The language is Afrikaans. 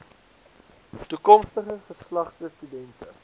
toekomstige geslagte studente